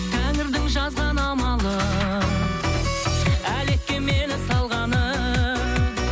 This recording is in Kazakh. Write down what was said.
тәңірдің жазған амалы әлекке мені салғаны